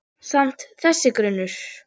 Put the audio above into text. Yppti öxlum.